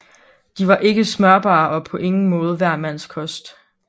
De var ikke smørbare og på ingen måde hver mands kost